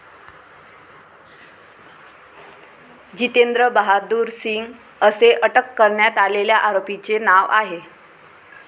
जितेंद्र बहादूर सिंग, असे अटक करण्यात आलेल्या आरोपीचे नाव आहे.